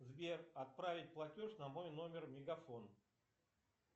сбер отправить платеж на мой номер мегафон